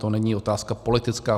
To není otázka politická.